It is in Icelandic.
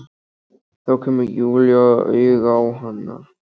Þá kemur Júlía auga á hana.